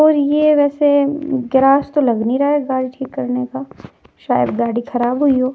और ये वैसे गैराज तो लग नहीं रहा है गाड़ी ठीक करने का। शायद गाड़ी खराब हुई हो।